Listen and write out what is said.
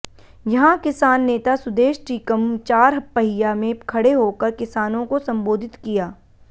यहां किसान नेता सुदेेश टीकम चार पहिया में खड़े होकर किसानों को संबोधित किया